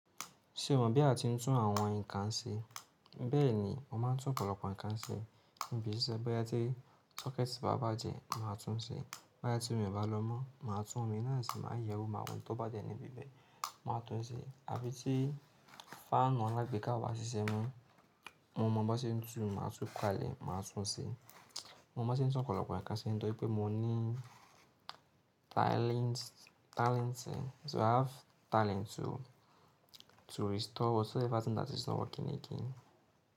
Ṣé o mọ̀ bí a ti ń tún àwọn nǹkan ṣe? Bẹ́ẹ̀ni, mo máa ń tún ọ̀pọ̀lọpọ̀ nǹkan ṣe. Ṣe bóyá tí socket bá bàjẹ́ máa tún un ṣe, bóyá tí omi bá lọ mọ́ máa tún omi náà ṣe máa yẹ wó máa wò ohun tó bá jẹ́ níbi bẹ́ẹ̀ máa tún un ṣe. Àbí tí fan alagbéká obá sísẹ́ mo, mo mọ̀ boṣé ń tún, máa tún ka á lẹ̀, máa tún un ṣe. Mo mọ bí ṣe ń tún ọ̀pọ̀lọpọ̀ nǹkan ṣe nítorí pé mo ní talent, talent é. So i have talent to, to restore whatever thing that is not working again.